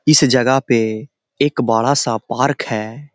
इस जगह पे एक बड़ा-सा पार्क है।